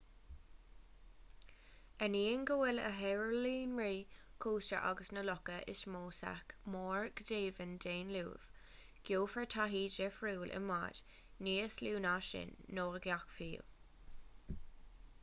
ainneoin go bhfuil na hoileánraí cósta agus na locha is mó sách mór go deimhin d'aon luamh gheofar taithí dhifriúil i mbáid níos lú na sin nó i gcadhc fiú